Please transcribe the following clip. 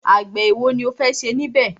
Àgbẹ̀ ẹ̀wo ni o fẹ́ ṣe níbẹ̀?